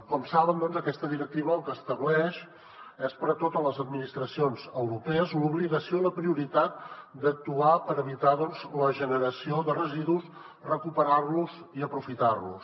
com saben doncs aquesta directiva el que estableix és per a totes les administracions europees l’obligació i la prioritat d’actuar per evitar la generació de residus recuperar los i aprofitar los